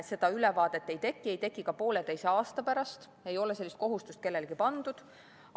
Seda ülevaadet ei teki, ei teki ka pooleteise aasta pärast, ei ole sellist kohustust kellelegi pandud.